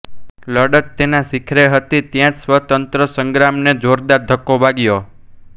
લડત તેનાં શિખરે હતી ત્યાં જ સ્વાતંત્ર્ય સંગ્રામને જોરદાર ધક્કો વાગ્યો